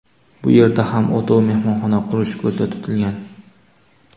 Bu yerda ham o‘tov mehmonxona qurish ko‘zda tutilgan.